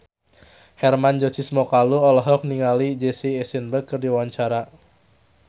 Hermann Josis Mokalu olohok ningali Jesse Eisenberg keur diwawancara